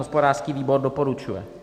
Hospodářský výbor doporučuje.